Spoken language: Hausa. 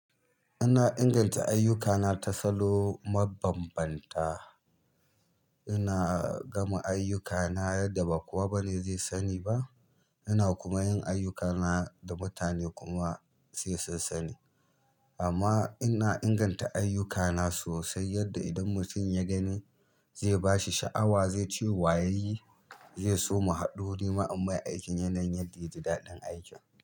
Ina inganta ayyukana ta salo mabanbanta. Ina gama ayyukana yadda ba kowa bane zai sani ba. Ina kuma yin ayyukana da mutane kuma sai su sani. Amma ina inganta ayyukana sosai yadda idan mutum ya gani zai ba shi sha'awa, zai ce wa ya yi, zai soma haɗori ma ammai aikin yanayin yadda ya ji daɗin aikin.